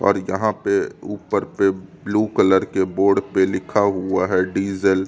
और यहाँ पे ऊपर पे ब्लू कलर के बोर्ड पे लिखा हुआ है डीजल --